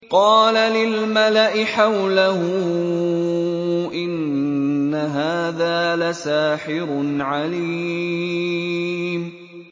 قَالَ لِلْمَلَإِ حَوْلَهُ إِنَّ هَٰذَا لَسَاحِرٌ عَلِيمٌ